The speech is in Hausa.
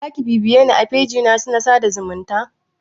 Zaki bibiyeni a fejina na sada zumunta?